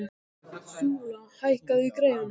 Súla, hækkaðu í græjunum.